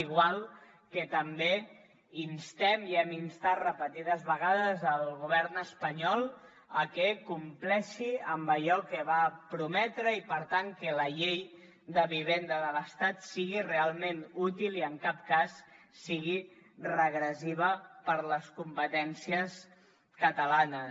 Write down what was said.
igual que també instem i hem instat repetides vegades el govern espanyol que compleixi amb allò que va prometre i per tant que la llei de vivenda de l’estat sigui realment útil i en cap cas sigui regressiva per a les competències catalanes